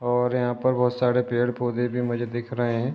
और यहाँ पर बोहोत सारे पेड़ पौधे भी मुझे दिख रहे हैं।